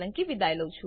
જોડાવા બદ્દલ આભાર